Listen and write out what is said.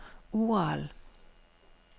Ural